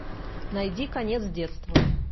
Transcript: найди конец детства